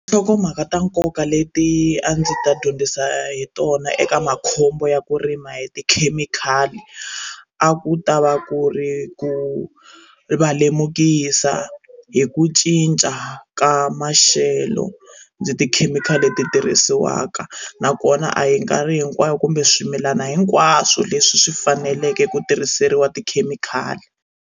Nhlokomhaka ta nkoka leti a ndzi ta dyondzisa hi tona eka makhombo ya ku rima hi tikhemikhali a ku ta va ku ri ku va lemukisa hi ku cinca ka maxelo ni tikhemikhali leti tirhisiwaka nakona a hi nkarhi hinkwayo kumbe swimilana hinkwaswo leswi swi faneleke ku tirhiseriwa tikhemikhali.